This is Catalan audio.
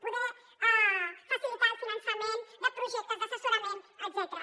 poder facilitar el finançament de projectes d’assessorament etcètera